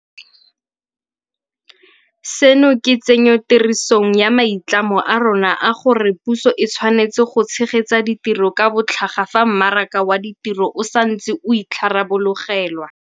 Seno ke tsenyotirisong ya maitlamo a rona a gore puso e tshwanetse go tshegetsa ditiro ka botlhaga fa mmaraka wa ditiro o sa ntse o itharabologelwa.